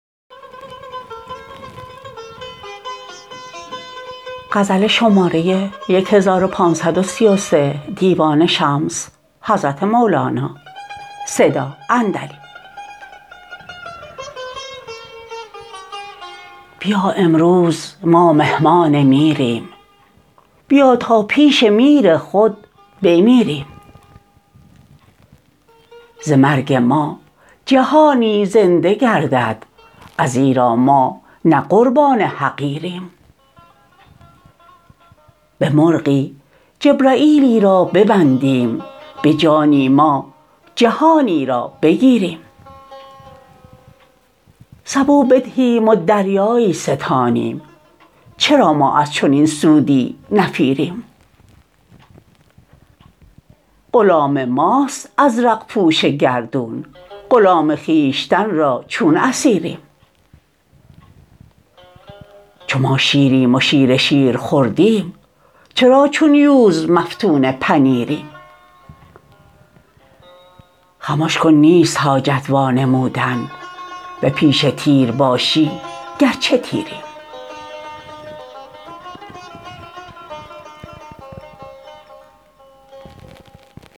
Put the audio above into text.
بیا امروز ما مهمان میریم بیا تا پیش میر خود بمیریم ز مرگ ما جهانی زنده گردد ازیرا ما نه قربان حقیریم به مرغی جبرییلی را ببندیم به جانی ما جهانی را بگیریم سبو بدهیم و دریایی ستانیم چرا ما از چنین سودی نفیریم غلام ماست ازرق پوش گردون غلام خویشتن را چون اسیریم چو ما شیریم و شیر شیر خوردیم چرا چون یوز مفتون پنیریم خمش کن نیست حاجت وانمودن به پیش تیر باشی گرچه تیریم